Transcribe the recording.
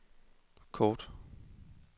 kort